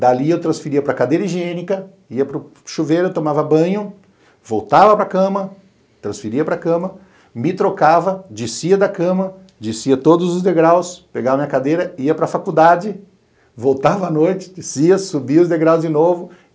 Dali eu transferia para cadeira higiênica, ia para o chuveiro, tomava banho, voltava para cama, transferia para cama, me trocava, descia da cama, descia todos os degraus, pegava minha cadeira, ia para faculdade, voltava à noite, descia, subia os degraus de novo.